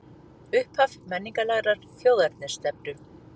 Upphaf menningarlegrar þjóðernisstefnu